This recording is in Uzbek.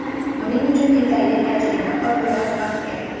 Buning uchun yetarli tajriba va biroz vaqt kerak.